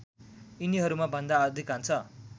यिनीहरूमा भन्दा अधिकांश